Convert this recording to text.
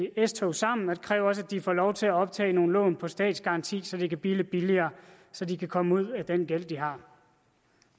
s tog sammen og det kræver også at de får lov til at optage nogle lån med statsgaranti så det kan blive lidt billigere så de kan komme ud af den gæld de har